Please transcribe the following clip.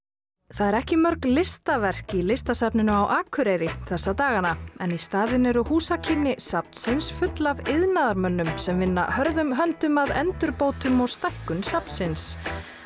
það eru ekki mörg listaverk í Listasafninu á Akureyri þessa dagana en í staðinn eru húsakynni safnsins full af iðnaðarmönnum sem vinna hörðum höndum að endurbótum og stækkun safnsins